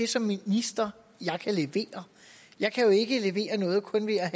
som minister kan levere jeg kan jo ikke levere noget kun ved at